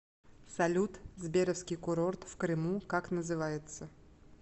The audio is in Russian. салют сберовский курорт в крыму как называется